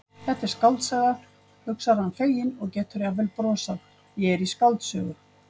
Þetta er skáldsaga, hugsar hann feginn og getur jafnvel brosað, ég er í skáldsögu.